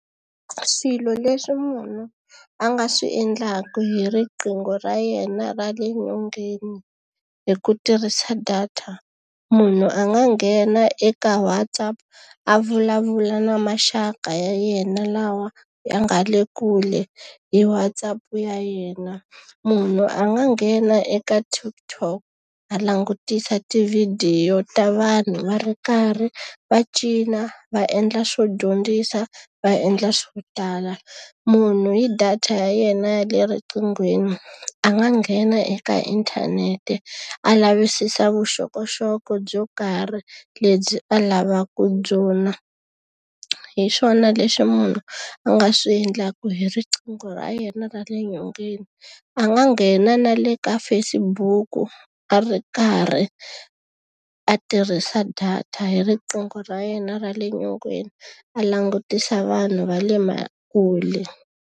Swilo leswi munhu a nga swi endlaka hi riqingho ra yena ra le nyongeni hi ku tirhisa data. Munhu a nga nghena eka WhatsApp a vulavula na maxaka ya yena lawa ya nga le kule hi WhatsApp ya yena. Munhu a nga nghena eka TikTok a langutisa tivhidiyo ta vanhu va ri karhi va cina, va endla swo dyondzisa, va endla swo tala. Munhu hi data ya yena ya le riqinghweni a nga nghena eka inthanete a lavisisa vuxokoxoko byo karhi lebyi a lavaka ku byona. Hi swona leswi munhu a nga swi endlaka hi riqingho ra yena ra le nyongeni. A nga nghena na le ka Facebook-u a ri karhi a tirhisa data hi riqingho ra yena ra le nyongeni, a langutisa vanhu va le kule.